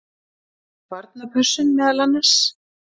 Barnapössun meðal annars.